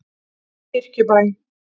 Kirkjubæ